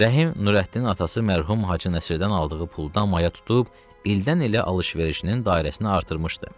Rəhim Nurəddinin atası mərhum Hacı Nəsirdən aldığı puldan maya tutub ildən-ilə alış-verişinin dairəsini artırmışdı.